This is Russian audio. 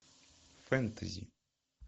фэнтези